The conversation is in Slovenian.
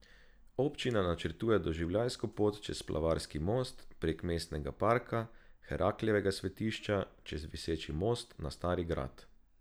Občina načrtuje doživljajsko pot čez Splavarski most, prek mestnega parka, Heraklejevega svetišča, čez viseči most na Stari grad.